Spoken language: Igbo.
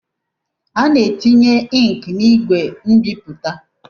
A na-etinye inki n'igwe mbipụta.